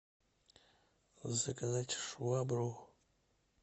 заказать швабру